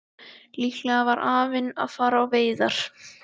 Líklega var afinn að fara á veiðar.